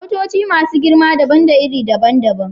Motoci masu girma dabam da iri daban-daban.